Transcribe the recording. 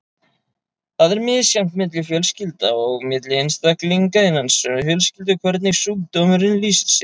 Það er misjafnt milli fjölskylda og milli einstaklinga innan sömu fjölskyldu hvernig sjúkdómurinn lýsir sér.